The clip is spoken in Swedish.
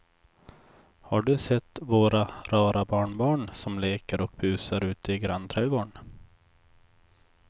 Har du sett våra rara barnbarn som leker och busar ute i grannträdgården!